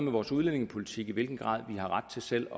vores udlændingepolitik og i hvilken grad vi har ret til selv